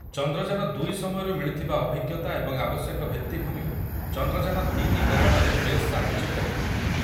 ଚନ୍ଦ୍ରଯାନ ଦୁଇ ସମୟରୁ ମିଳିଥିବା ଅଭିଜ୍ଞତା ଏବଂ ଆବଶ୍ୟକ ଭିତ୍ତିଭୂମି ଚନ୍ଦ୍ରଯାନ ତିନି ପ୍ରେରଣାରେ ବେଶ୍ ସାହାଯ୍ୟ କରିବ ।